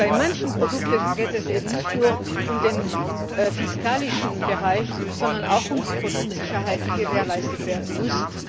Denn bei manchen Produkten geht es eben nicht nur um den fiskalischen Bereich, sondern auch um die Produktsicherheit, die gewährleistet werden muss.